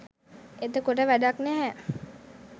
එතකොට වැඩක් නැහැ.